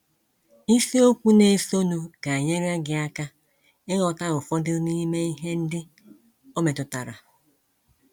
Isiokwu na - esonụ ga - enyere gị aka ịghọta ụfọdụ n’ime ihe ndị o metụtara.